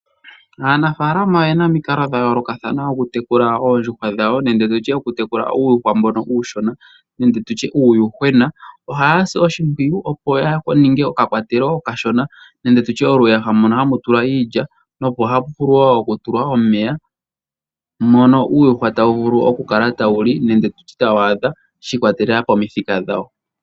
Aanafaalama oye na omikalo dha yoolokathana oku tekula, oondjuhwa dhawo nenge tu tye oku tekula uuyuhwa mboka uushona nenge tu tye uuyuhwena. Oha ya si oshimpwiyu opo ya ninge oka kwatelo okashona nenge oluyaha mono ha mu tulwa iilya, mo oha mu vulu oku tulwa omeya, mono uuyuhwa ata wu vulu oku kala ta wu li nenge tu tye ta wu adha shiikwatelela komithika dhawo.